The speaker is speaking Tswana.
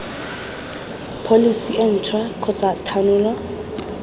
pholesi e ntšhwa kgotsa thanolo